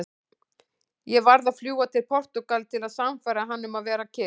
Ég varð að fljúga til Portúgal til að sannfæra hann um að vera kyrr.